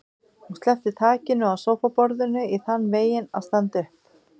Hún sleppti takinu á sófaborðinu í þann veginn að standa upp.